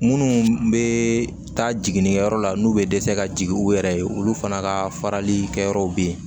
Munnu be taa jiginikɛyɔrɔ la n'u be dɛsɛ ka jigin u yɛrɛ ye olu fana ka farali kɛyɔrɔw be yen